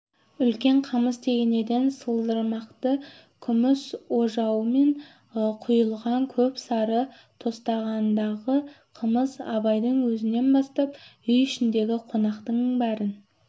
үлкен қамыс тегенеден сылдырмақты күміс ожаумен құйылған көп сары тостағандағы қымыз абайдың өзінен бастап үй ішіндегі қонақтың бәрін